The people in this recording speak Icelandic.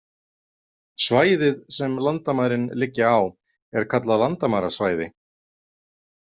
Svæðið, sem landamærin liggja á, er kallað landamærasvæði.